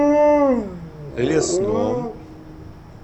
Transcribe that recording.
лесном